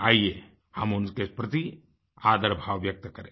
आइये हम उनके प्रति आदर भाव व्यक्त करें